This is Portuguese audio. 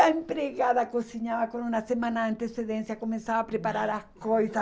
A empregada cozinhava com uma semana de antecedência, começava a preparar as coisas.